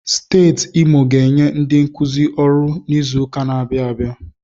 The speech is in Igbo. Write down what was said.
Steeti Imo ga-enye ndi nkuzi ọrụ n'izuka na-abịa abịa.